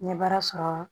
N ye baara sɔrɔ